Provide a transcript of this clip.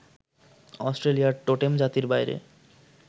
অস্ট্রেলিয়ার টোটেম জাতির বাইরে